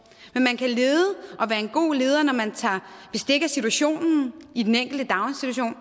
men man kan lede og være en god leder når man tager bestik af situationen i den enkelte daginstitution